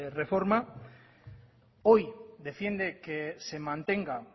reforma hoy defiende que se mantenga